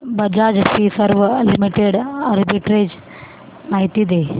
Bajaj Finserv limited arbitrage माहिती दे